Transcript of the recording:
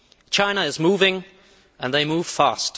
China is moving and they move fast.